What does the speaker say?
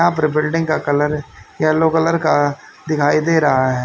यहां पर बिल्डिंग का कलर येलो कलर का दिखाई दे रहा है।